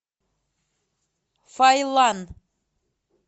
файлан